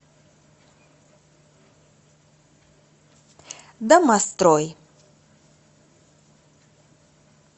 домострой